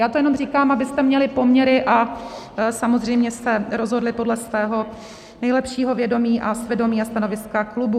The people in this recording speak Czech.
Já to jenom říkám, abyste měli poměry a samozřejmě jste rozhodli podle svého nejlepšího vědomí a svědomí a stanoviska klubů.